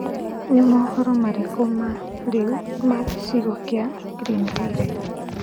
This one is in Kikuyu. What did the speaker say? ni mohoro marĩkũ ma riu ma gicigo kia greenville